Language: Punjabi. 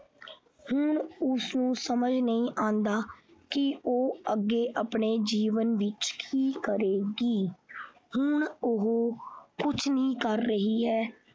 ਹੁਣ ਉਸਨੂੰ ਸਮਝ ਨਹੀਂ ਆਉਂਦਾ ਕਿ ਹੁਣ ਉਹ ਅੱਗੇ ਆਪਣੇ ਜੀਵਨ ਦੀ ਕੀ ਕਰੇਗੀ ਹੁਣ ਉਹ ਕੁਛ ਨਹੀਂ ਕਰ ਰਹੀ ਹੈ।